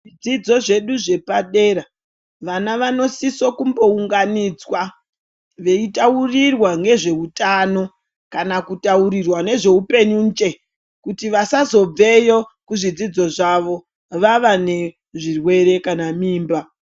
Zvidzidzo zvedu zvepadera vana vanosisa kumbounganidzwa, veitaurirwa ngezveutano kana kutaurirwa ngezveupenyu nje kuti vasazobve yo kuzvidzidzo zvavo vava nezvirwere kana mimba.